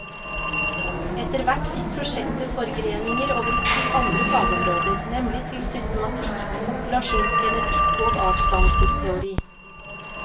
Etter hvert fikk prosjektet forgreninger over til andre fagområder, nemlig til systematikk, populasjonsgenetikk og artsdannelsesteori.